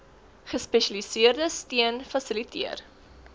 gespesialiseerde steun fasiliteer